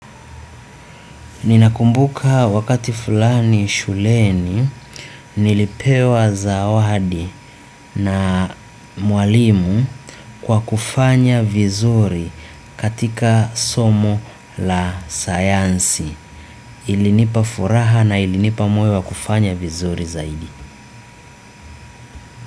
Ninakumbuka wakati fulani shuleni nilipewa zawadi na mwalimu kwa kufanya vizuri katika somo la sayansi ilinipa furaha na ilinipa moyo wa kufanya vizuri zaidi.